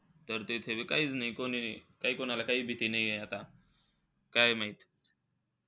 तर ते तेथे बी काहीच नाही. कोणी. कोणाला काहीच भीती नाही आहे आता. काय माहित?